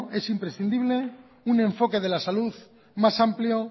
es imprescindible un enfoque de la salud más amplio